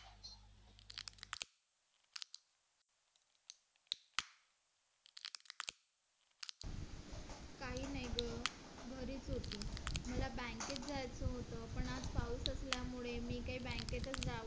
काही नाही ग घरीच होती मला bank त जायचं होतं पण आज पाऊस असल्यामुळे मी काही bank च जाऊ